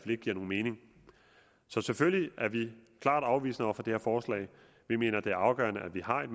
ikke giver nogen mening så selvfølgelig er vi klart afvisende over for det her forslag vi mener det er afgørende at vi har et